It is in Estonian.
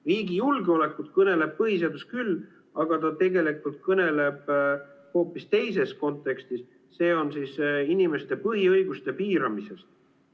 Riigi julgeolekust kõneleb põhiseadus küll, aga hoopis teises kontekstis, inimeste põhiõiguste piiramisest.